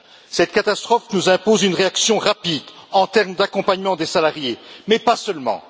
Cette catastrophe nous impose une réaction rapide en termes d'accompagnement des salariés, mais pas seulement.